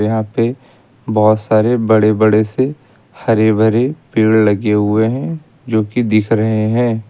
यहां पे बहुत सारे बड़े बड़े से हरे भरे पेड़ लगे हुए हैं जो कि दिख रहे हैं।